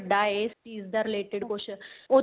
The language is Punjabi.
ਵੱਡਾ ਏ ਇਸ ਚੀਜ਼ ਦਾ related ਕੁੱਛ